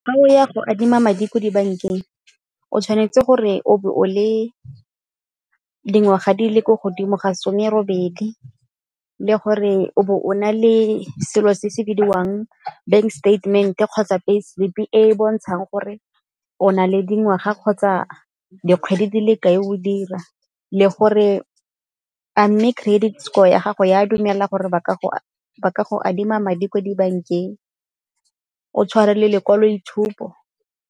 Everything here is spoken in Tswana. Ga o ya go adima madi ko dibankeng o tshwanetse gore o be o le dingwaga di le ko godimo ga some-robedi le gore o bo o na le selo se se bidiwang bank statement-e kgotsa pay slip e e bontshang gore o na le dingwaga kgotsa dikgwedi dile ka e o dira. Le gore a mme credit score ya gago e a dumela gore ba ka go adima madi kwa dibankeng, o tshware le lekwaloitshupo.